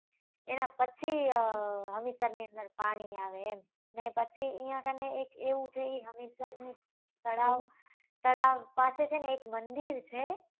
એના પછી હમીસર ની અંદર પાણી આવે એમ ને પછી ત્યાં કને એક એવું છે એ હમીસર ની તળાવ તળાવ પાસે છે ને એક મંદિર છે.